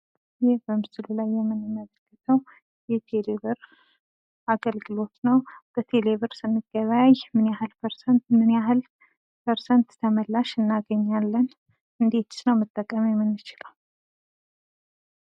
ይህ በምስሉ ላይ የምንመለከተው የቴሌብር አገልግሎት ነው ። በቴሌብር ስንገበያይ ምን ያህል ፐርሰንት ተመላሽ እናገኛለን? እንዴትስ ነው መጠቀም የምንችለው?